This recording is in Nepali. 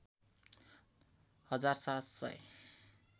हजार ७ सय